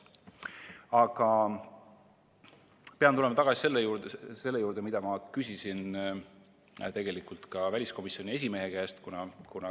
Aga pean tulema tagasi selle juurde, mida ma küsisin ka väliskomisjoni esimehe käest.